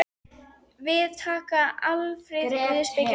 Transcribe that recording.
Við taka alfarið guðspeki og jóga.